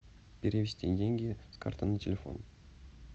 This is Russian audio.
перевести деньги с карты на телефон